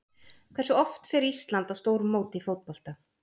Hversu oft fer Ísland á stórmót í fótbolta?